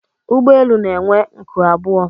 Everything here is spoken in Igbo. ụgbọelu elu na-enwe nku abụọ